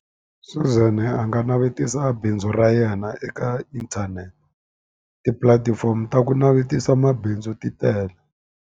Suzan a nga navetisa bindzu ra yena eka inthanete, tipulatifomo ta ku navetisa mabindzu ti tele.